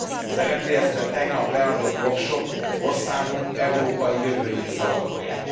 Az RMDSZ re tegnap leadott voksok országunk európai jövőjét szavatolják.